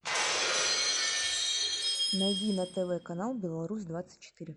найди на тв канал беларусь двадцать четыре